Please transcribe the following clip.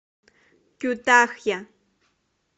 кютахья